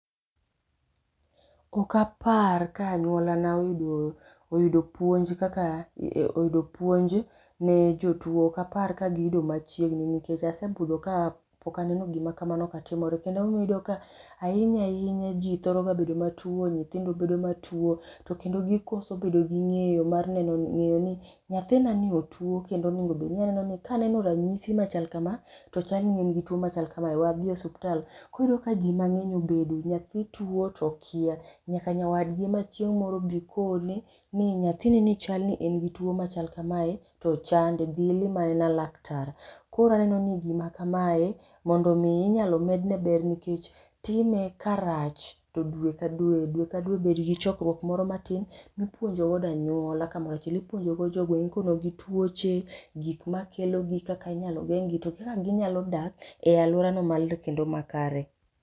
Okapar ka anyuolana oyudo puonj kaka oyudo puonj ne jotuo okapar ka giyudo machiegni nikech asebudho kapok aneno gimakamano katimore, kendo ema omiyo iyudo ka ahinya ahinya ji thoroga bedo matuo, nyithindo bedo matuo to kendo gikoso bedo gi ng'eyo mar ng'eyoni nyathinani otuo. Kendo obedoni anenoni kaneno ranyisi machal kama to chal ni en gi tuo machal kamae we adhii e osiptal koro ka ji mang'eny obedo nyathii tuo to okia nyaka nyawadgi ema chieng'moro bi koneni nyathinini chalni en gi tuo machal kamae to chande dhii ilamanena laktar. Koro anenoni gima kamae mondo omii inyalo medne ber nikech time karach to due ka due, due ke due bedgi chokruok moro matin mipuonjo wuod anyuola kamorachiel. Ipuonjogo jogweng' ikonogi tuoche, gikmakelogi, kaka inyalo geng'gi to gi kaka ginyalo dak e aluorano kendo makare.